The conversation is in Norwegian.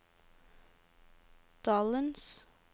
dalens